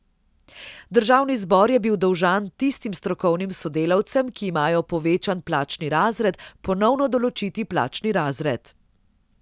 Državni zbor je bil dolžan tistim strokovnim sodelavcem, ki imajo povečan plačni razred, ponovno določiti plačni razred.